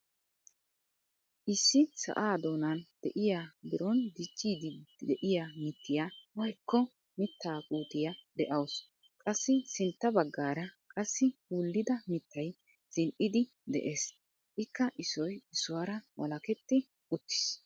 Issi sa'aa doonan de'iyaa biron diccidi de'iyaa mittiyaa woykko mittaa puutiyaa de'awus. Qassi sintta baggaara qassi wullida mittay zini"idi de'ees. Ikka issoy issuwaara walaketti uttiis.